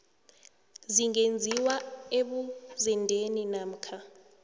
zingenziwa ebuzendeni namkha